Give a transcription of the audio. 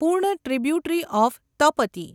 પૂર્ણ tributary of Tapti